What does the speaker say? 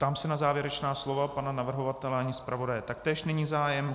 Ptám se na závěrečná slova pana navrhovatele a zpravodaje, taktéž není zájem.